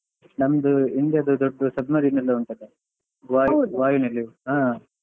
ನಮ್ದು India ದು ದೊಡ್ಡದು submarine ಎಲ್ಲ ಉಂಟಲ್ಲ ವಾಯು ವಾಯುನೆಲೆ ಹಾ